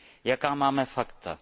Jaká máme fakta?